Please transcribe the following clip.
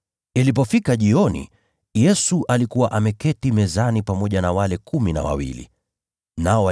Ilipofika jioni, Yesu alikuwa ameketi mezani pamoja na wale wanafunzi wake kumi na wawili.